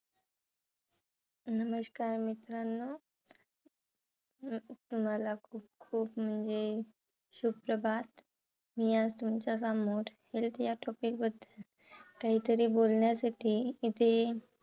नमस्कार मित्रांनो! अं तुम्हाला खूप खूप म्हणजे सुप्रभात. मी आज तुमच्या समोर health या topic बद्दल काहीतरी बोलण्यासाठी इथे